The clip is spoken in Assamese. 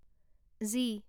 জি